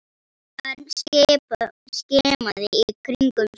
Örn skimaði í kringum sig.